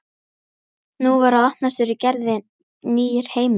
Nú var að opnast fyrir Gerði nýr heimur.